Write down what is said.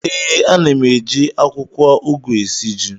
Ee, ana m eji akwụkwọ ugu esi ji